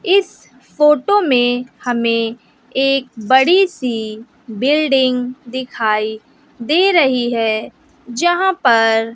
इस फोटो में हमें एक बड़ी सी बिल्डिंग दिखाई दे रही है जहां पर--